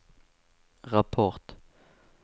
rapport